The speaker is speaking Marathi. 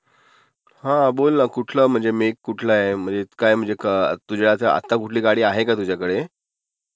हा बोल ना....कुठलं म्हणजे..........काय म्हणजे मेक कुठला आहे, आता कोणती गाडी आहे का तुझ्याकडे?